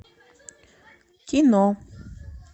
кино